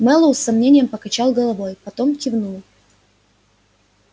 мэллоу с сомнением покачал головой потом кивнул